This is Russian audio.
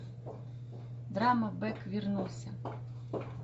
драма бек вернулся